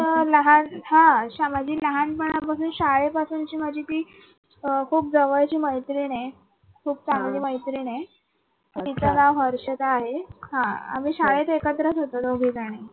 तर लहान हा माझी लहानपणापासून ची शाळे पासून ची माझी ती खूप जवळची मैत्रीण आहे खूप चांगली मैत्रीण आहे. तिचं नाव हर्षदा आहे. आम्ही शाळेत एकत्रच होतो दोघीजणी.